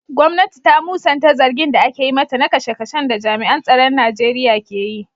Gwamnati ta musanta zargin da ake yi mata na kashe-kashen da jami'an tsaron Najeriya ke yi.